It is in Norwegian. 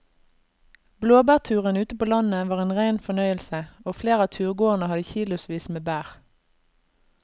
Blåbærturen ute på landet var en rein fornøyelse og flere av turgåerene hadde kilosvis med bær.